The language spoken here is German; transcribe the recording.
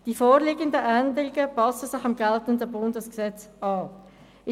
Die vorliegenden Änderungen passen sich dem Bundesgesetz an.